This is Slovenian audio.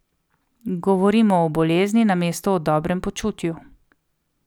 Govorimo o bolezni, namesto o dobrem počutju.